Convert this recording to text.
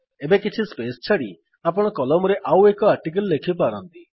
ଏବେ କିଛି ସ୍ପେସ୍ ଛାଡ଼ିକରି ଆପଣ କଲମରେ ଆଉ ଏକ ଆର୍ଟିକିଲ୍ ଲେଖିପାରନ୍ତି